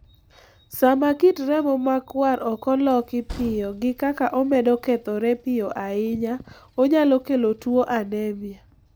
Sama kit remo makwar okoloki piyo gikaka omedo kethore piyo ahinya onyalo kelo tuo anemia